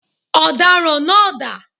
Ọ̀daràn náá dà?